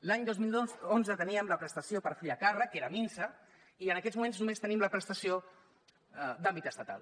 l’any dos mil onze teníem la prestació per fill a càrrec que era minsa i en aquests moments només tenim la prestació d’àmbit estatal